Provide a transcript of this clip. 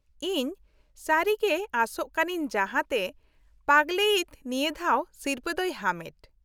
ᱤᱧ ᱥᱟᱹᱨᱤ ᱜᱮ ᱟᱥᱟᱜ ᱠᱟᱱᱟᱹᱧ ᱡᱟᱦᱟᱸᱛᱮ ᱯᱟᱜᱞᱮᱭᱤᱛ ᱱᱤᱭᱟ. ᱫᱷᱟᱣ ᱥᱤᱨᱯᱟ. ᱫᱚᱭ ᱦᱟᱢᱮᱴ ᱾